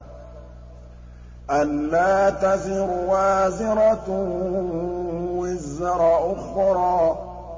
أَلَّا تَزِرُ وَازِرَةٌ وِزْرَ أُخْرَىٰ